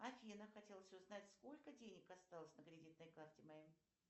афина хотелось узнать сколько денег осталось на кредитной карте моей